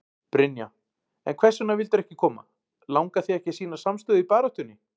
Brynja: En hvers vegna vildirðu ekki koma, langar þig ekki að sýna samstöðu í baráttunni?